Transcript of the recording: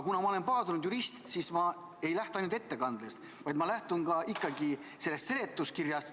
Kuna ma olen paadunud jurist, siis ma ei lähtu ainult ettekandest, vaid ma lähtun ikkagi ka seletuskirjast.